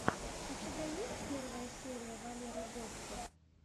у тебя есть первая серия валеры гостер